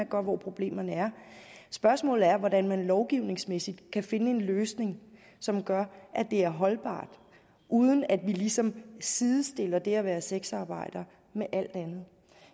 hvor problemerne er spørgsmålet er hvordan man lovgivningsmæssigt kan finde en løsning som gør at det er holdbart uden at vi ligesom sidestiller det at være sexarbejder med alt andet